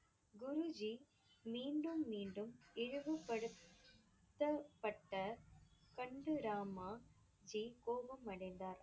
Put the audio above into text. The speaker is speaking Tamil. குரு ஜி மீண்டும் மீண்டும் இழிவுபடுத்தப்பட்ட கண்டு ராமா ஜி கோபம் அடைந்தார்.